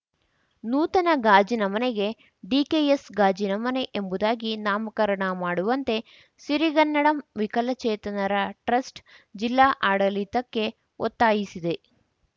ನೂತನ ಗಾಜಿನ ಮನೆಗೆ ಡಿಕೆಎಸ್‌ ಗಾಜಿನ ಮನೆ ಎಂಬುದಾಗಿ ನಾಮಕರಣ ಮಾಡುವಂತೆ ಸಿರಿಗನ್ನಡಂ ವಿಕಲಚೇತನರ ಟ್ರಸ್ಟ್‌ ಜಿಲ್ಲಾ ಆಡಳಿತಕ್ಕೆ ಒತ್ತಾಯಿಸಿದೆ